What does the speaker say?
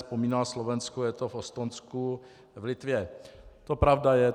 Vzpomínal Slovensko, je to v Estonsku, v Litvě, to pravda je.